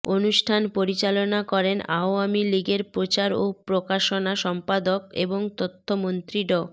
অনুষ্ঠান পরিচালনা করেন আওয়ামী লীগের প্রচার ও প্রকাশনা সম্পাদক এবং তথ্যমন্ত্রী ড